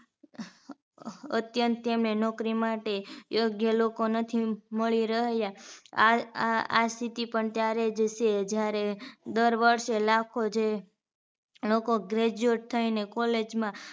અત્યંત તેમને નોકરી માટે જે લોકો નથી મળી રહ્યા આ આ આ સ્થિતિ પણ ત્યારે જ છે જ્યારે દર વર્ષે લાખો જે લોકો graduate થઈને college માં